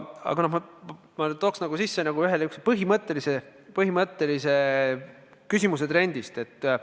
Aga ma tooks sisse ühe põhimõttelise küsimuse trendist.